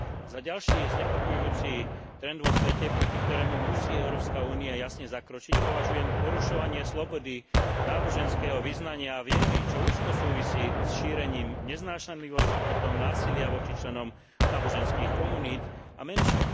Za ďalší znepokojujúci trend vo svete, proti ktorému musí Európska únia jasne zakročiť, považujem porušovanie slobody náboženského vyznania a viery, čo úzko súvisí so šírením neznášanlivosti, potom násilia voči členom náboženských komunít a menšín.